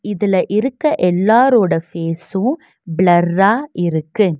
இதுல இருக்க எல்லாரோட ஃபேஸும் பிளர்ரா இருக்கு.